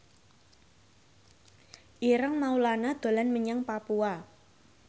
Ireng Maulana dolan menyang Papua